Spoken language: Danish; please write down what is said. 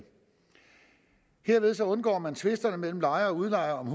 herved undgår man tvisterne mellem lejere og udlejere om